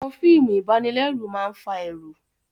Àwọn fíìmù ìbanilẹ́rù máa fa ẹ̀rù